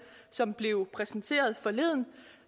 som blev præsenteret forleden og